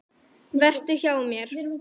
Vertu hjá mér.